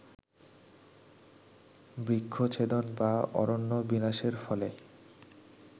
বৃক্ষছেদন বা অরণ্য বিনাশের ফলে